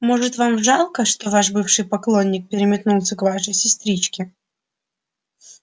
может вам жалко что ваш бывший поклонник переметнулся к вашей сестричке